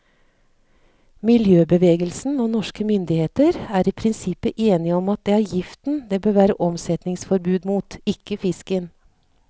Miljøbevegelsen og norske myndigheter er i prinsippet enige om at det er giften det bør være omsetningsforbud mot, ikke fisken.